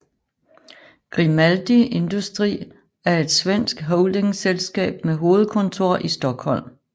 Grimaldi Industri er et svensk holdingselskab med hovedkontor i Stockholm